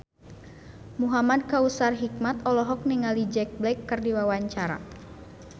Muhamad Kautsar Hikmat olohok ningali Jack Black keur diwawancara